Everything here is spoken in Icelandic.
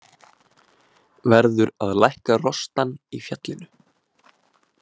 Verður að lækka rostann í fjallinu.